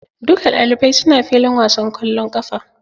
Duka ɗalibai su na filin wasan kwallon ƙafa.